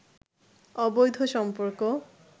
অবৈধ সম্পর্ক